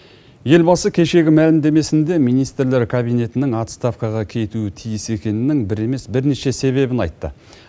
елбасы кешегі мәлімдемесінде министрлер кабинетінің отставкаға кетуі тиіс екенінін бір емес бірнеше себебін айтты